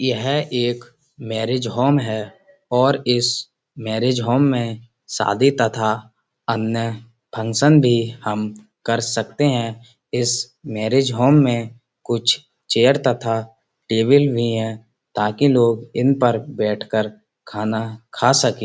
यह एक marriage home है इस मैंरिज होम में शादी तथा अन्य फंक्शन भी हम कर सकते है इस मैंरिज होम में कुछ चेयर तथा टेबल भी है ताकि लोग इन पर बैठ के खाना खा सके।